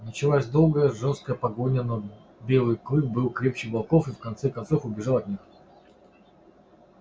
началась долгая жёстокая погоня но белый клык был крепче волков и в конце концов убежал от них